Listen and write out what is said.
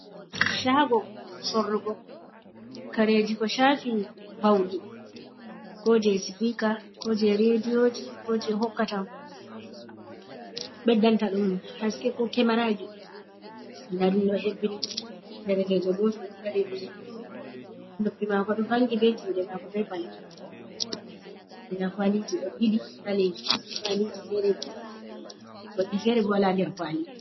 Chago sorrugo kareji ko chafi ɓaudi, ko je sipika, ko je rediyoji, ko je hokkata ɓeddanta ɗum haske ko kemaraji nda ɗun ɗo hebbini, darkejo goto ɗo dari ri he'd ɗo noppi mako ɗo vangi be juɗe mako be balbe mako nɗa kwaliji ɗo ɓili kwaliji fere bo goɗɗi fere bo wala nder kwali.